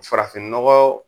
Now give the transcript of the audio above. Farafinnɔgɔ